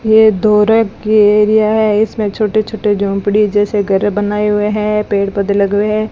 ये धोरेक की एरिया है इसमें छोटे छोटे झोंपड़ी जैसे घर बनाए हुए हैं पेड़ पौधे लगे हुए हैं।